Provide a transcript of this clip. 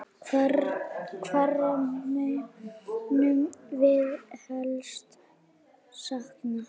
Hverra munum við helst sakna?